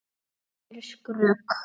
En það hefði verið skrök.